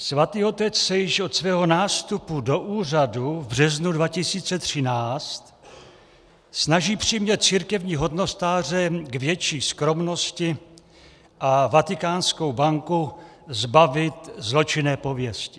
Svatý otec se již od svého nástupu do úřadu v březnu 2013 snaží přimět církevní hodnostáře k větší skromnosti a Vatikánskou banku zbavit zločinné pověsti.